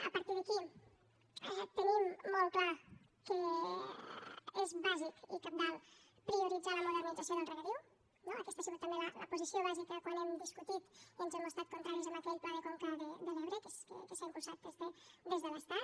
a partir d’aquí tenim molt clar que és bàsic i cabdal prioritzar la modernització del regadiu no aquesta ha sigut també la posició bàsica quan hem discutit i ens hem mostrat contraris a aquell pla de conca de l’ebre que s’ha impulsat des de l’estat